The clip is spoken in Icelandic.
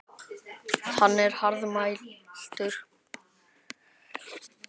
Hann er hraðmæltur.